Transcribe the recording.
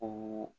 O